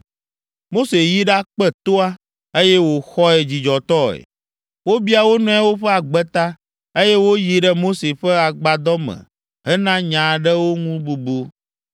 Mose yi ɖakpe toa, eye wòxɔe dzidzɔtɔe. Wobia wo nɔewo ƒe agbe ta, eye woyi ɖe Mose ƒe agbadɔ me hena nya aɖewo ŋu bubu.